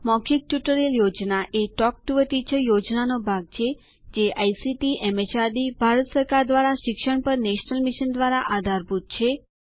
મૌખિક ટ્યુટોરિયલ યોજના talk to a teacher યોજનાનો એક ભાગ છે જે આઇસીટી એમએચઆરડી ભારત સરકાર દ્વારા શિક્ષણ પર નેશનલ મિશન દ્વારા આધારભૂત છે